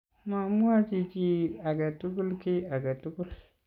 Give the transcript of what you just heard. mamwochi chii age tugul ky age tugul